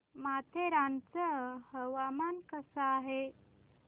माथेरान चं हवामान कसं आहे